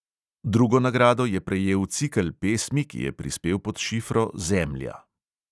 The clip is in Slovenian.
Drugo nagrado je prejel cikel pesmi, ki je prispel pod šifro zemlja.